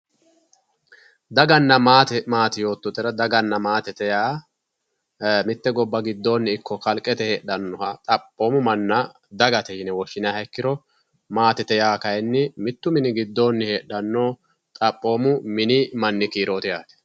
Daganna maate naati yoottotera, daganna maate yaa mitte gobba giddoonni ikko kalqete heedhanoha xaphoomu manna dagate yine woshhinayiiha ikkiro maatete yaa kaayiinni mittu mini giddoonni heedhanno xaphoomu mini mnni kiirooti yaate.